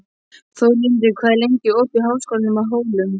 Þórlindur, hvað er lengi opið í Háskólanum á Hólum?